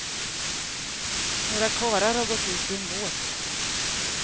Några karlar har gått ut i en båt.